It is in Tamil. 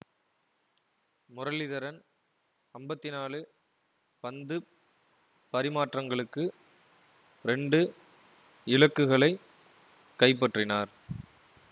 முரளிதரன் அம்பத்தி நாலு பந்துப் பரிமாற்றங்களுக்கு இரண்டு இலக்குகளை கைப்பற்றினார்